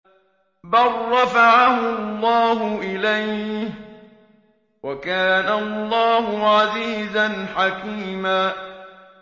بَل رَّفَعَهُ اللَّهُ إِلَيْهِ ۚ وَكَانَ اللَّهُ عَزِيزًا حَكِيمًا